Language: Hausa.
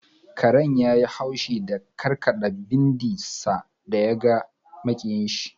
Karen yayi haushi da karkada bindin sa da ya ga makiyayinshi.